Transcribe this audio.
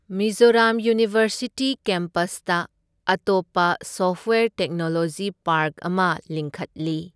Mizoram university ꯀꯦꯝꯄꯁꯇ ꯑꯇꯣꯞꯄ software technology park ꯑꯃ ꯂꯤꯡꯈꯠꯂꯤ꯫